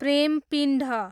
प्रेमपिण्ड